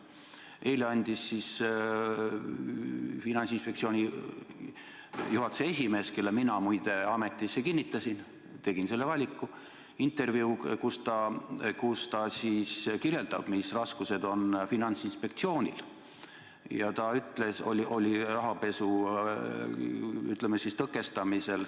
Eile andis Finantsinspektsiooni juhatuse esimees, kelle mina muide ametisse kinnitasin, tegin selle valiku, intervjuu, kus ta kirjeldab, mis raskused on Finantsinspektsioonil olnud rahapesu tõkestamisel.